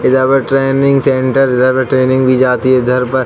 इधर पर training centre. इधर पर ट्रैनिग दी जाती है। इधर पर --